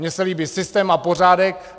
Mě se líbí systém a pořádek.